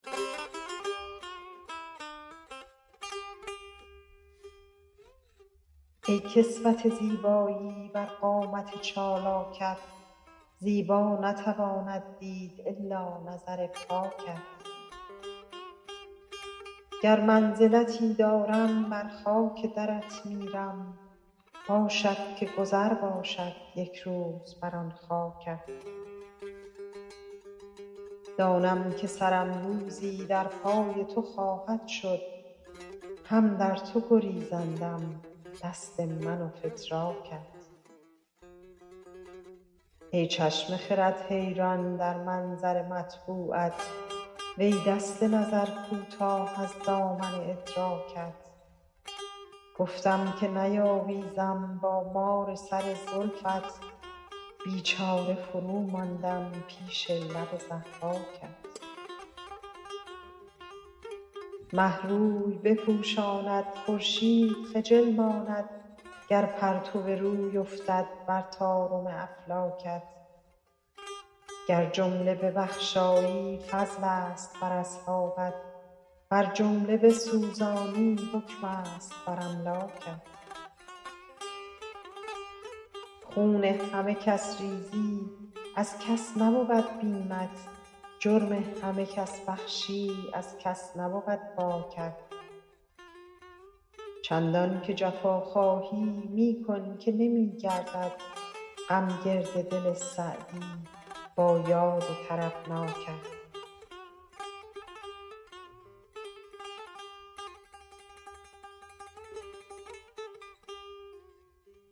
ای کسوت زیبایی بر قامت چالاکت زیبا نتواند دید الا نظر پاکت گر منزلتی دارم بر خاک درت میرم باشد که گذر باشد یک روز بر آن خاکت دانم که سرم روزی در پای تو خواهد شد هم در تو گریزندم دست من و فتراکت ای چشم خرد حیران در منظر مطبوعت وی دست نظر کوتاه از دامن ادراکت گفتم که نیاویزم با مار سر زلفت بیچاره فروماندم پیش لب ضحاکت مه روی بپوشاند خورشید خجل ماند گر پرتو روی افتد بر طارم افلاکت گر جمله ببخشایی فضلست بر اصحابت ور جمله بسوزانی حکمست بر املاکت خون همه کس ریزی از کس نبود بیمت جرم همه کس بخشی از کس نبود باکت چندان که جفا خواهی می کن که نمی گردد غم گرد دل سعدی با یاد طربناکت